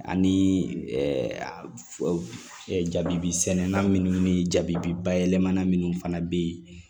Ani jabi sɛnɛnna minnu ni jabibi ba yɛlɛmana minnu fana bɛ yen